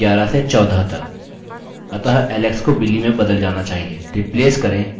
अतः alex को billy में बदल जाना चाहिए